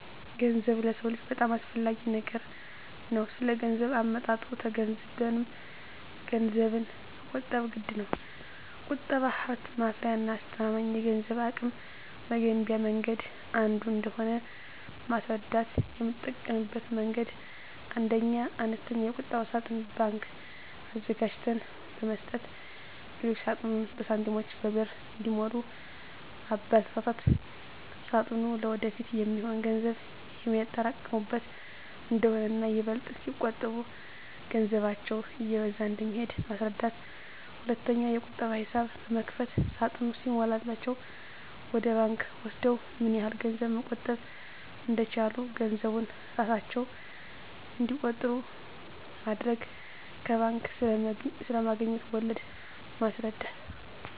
ገንዘብ ለሰው ልጆች በጣም አስፈላጊ ነገር ነው ስለገንዘብ አመጣጡ ተገንዝበንም ገንዘብን መቆጠብ ግድነው። ቁጠባ ሀብት ማፍሪያና አስተማማኝ የገንዘብ አቅም መገንቢያ መንገድ አንዱ እንደሆነ ማስረዳት: የምጠቀምበት መንገድ 1ኛ, አነስተኛ የቁጠባ ሳጥን (ባንክ) አዘጋጅተን በመስጠት ልጆች ሳጥኑን በሳንቲሞችና በብር እንዲሞሉ ማበርታት ሳጥኑ ለወደፊት የሚሆን ገንዘብ የሚያጠራቅሙበት እንደሆነና ይበልጥ ሲቆጥቡ ገንዘባቸው እየበዛ እንደሚሄድ ማስረዳት። 2ኛ, የቁጠባ ሂሳብ በመክፈት ሳጥኑ ሲሞላላቸው ወደ ባንክ ወስደው ምን ያህል ገንዘብ መቆጠብ እንደቻሉ ገንዘቡን እራሳቸው እንዲቆጥሩ ማድረግ። ከባንክ ስለማገኙት ወለድ ማስረዳት።